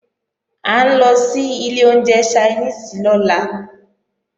À ń lọ sí ilé oúnjẹ Ṣainíìsì lọ́la